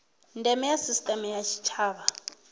ndeme ya sisiteme ya tshitshavha